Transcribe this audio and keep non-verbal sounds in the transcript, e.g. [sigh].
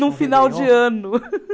Num final de ano. [laughs]